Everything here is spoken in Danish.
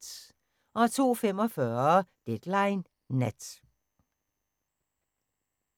02:45: Deadline Nat